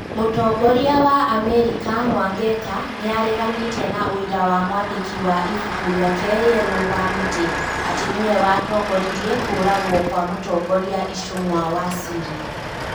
Mũtongoria wa Amerika Mwangeka nĩ areganĩte na ũira wa mwandĩki wa ibuku rĩake rĩerũ Wamiti atĩ nĩwe watongoririe kũũragwo kwa mũtongoria Icũng'wa wa Syria.